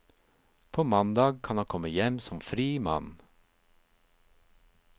På mandag kan han komme hjem som fri mann.